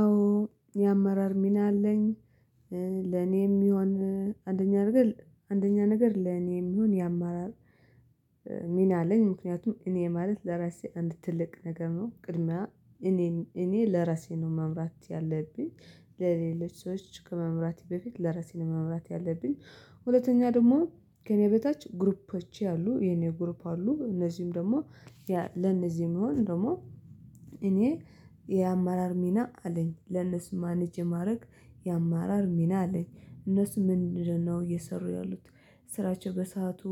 አዎ የአመራር ሚና አለኝ። ለኔም ይሁን አንደኛ ነገር አንደኛ ነገር ለኔ የሚሆን የአመራር ሚና አለኝ። ምክንያቱም እኔ ማለት ለራሴ አንድ ትልቅ ነገር ነው። ቅድሚያ እኔ ለራሴ ነው። መምራት ያለብኝ ለሌሎች ሰዎች ከመምራቴ በፊት ለራሴ ለመምራት ያለብኝ ሁለተኛ ደግሞ ከእኔ በታች ግሩፖች ያሉ የኔ ግሩፕ አሉ እነዚህም ደግሞ ለነዚህ የሚሆን ደግሞ እኔ የአመራር ሚና አለኝ። ለነሱ ማኔጅ የማድረግ የአመራር ሚና አለኝ እነሱ ምንድነው እየሰሩ ያሉት? ስራቸው በሰአቱ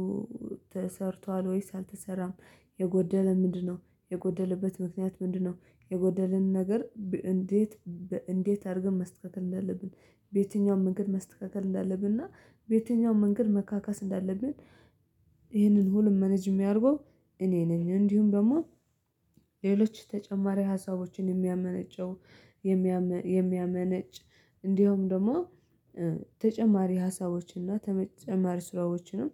ተሰርቷል ወይስ አልተሰራም? የጎደለ ምንድነው የጎደለበት ምክንያት ምንድነው? የጎደለን ነገር እንዴት እንዴት አድርገን ማስተካከል እንደለብን? በየትኛውም መንገድ ማስተካከል እንዳለብን እና በየትኛውም መንገድ ማካካስ እንዳለብን። ይሄንን ሁሉም መነጅ የሚያደርገው እኔ ነኝ። እንዲሁም ደግሞ ሌሎች ተጨማሪ ሀሳቦችን የሚያመነጨው የሚያመነጭ እንደውም ደግሞ ተጨማሪ ሀሳቦችና ተጨማሪ ስራዎችንም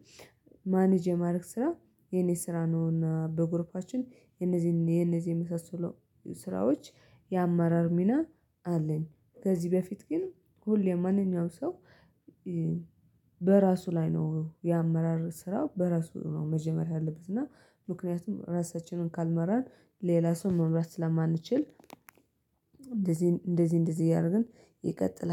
ማኔጅ የማድረግ ስራ የኔ ስራ ነው። እና በግሩፓችን የነዚህን የነዚህ የመሳሰሉ ስራዎች የአመራር ሚና አለኝ። ከዚህ በፊት ግን ሁሌ ማንኛውም ሰው በራሱ ላይ ነው የአመራር ስራው በራሱ ነው መጀመሪያ ያለበት እና ምክንያቱም ራሳችንን ካልመራን ሌላ ሰው መምራት ስለማንችል። እንደዚህ እንደዚህ እያደረግን ይቀጥላል